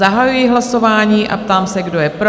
Zahajuji hlasování a ptám se, kdo je pro?